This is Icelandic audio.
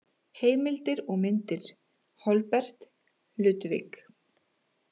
Heimildir og myndir: Holberg, Ludvig.